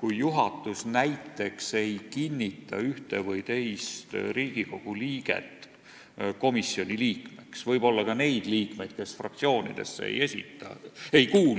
kui juhatus näiteks ei kinnitaks ühte või teist Riigikogu liiget komisjoni liikmeks, võib-olla ka neid liikmeid, kes fraktsioonidesse ei kuulu?